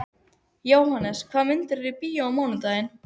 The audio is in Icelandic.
Jóhannes, hvaða myndir eru í bíó á mánudaginn?